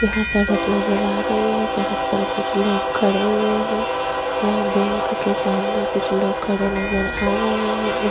यहाँ सड़क नज़र आ रही हैं सड़क पर कुछ लोग खड़े हुए हैं यहाँ बैंक के सामने कुछ लोग खड़े नज़र आ रहे हैं एक--